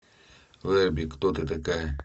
верби кто ты такая